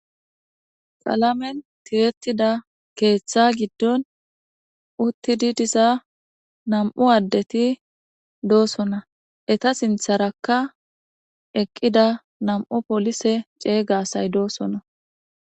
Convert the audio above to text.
qalamen tirettida keeththa giddon uttidi diza nam7u addeti doosona eta sintharakka eqqida nam7u polise ceeygasay doosona